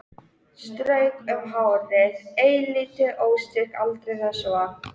Strauk um hárið, eilítið óstyrk aldrei þessu vant.